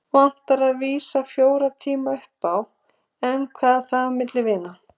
Vantar að vísu fjóra tíma upp á. en hvað er það á milli vina.